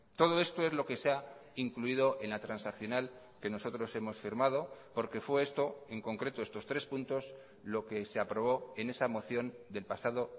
todo esto es lo que se ha incluido en la transaccional que nosotros hemos firmado porque fue esto en concreto estos tres puntos lo que se aprobó en esa moción del pasado